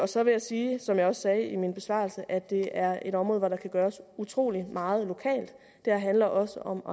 så vil jeg sige som jeg også sagde i min besvarelse at det er et område hvor der kan gøres utrolig meget lokalt det her handler også om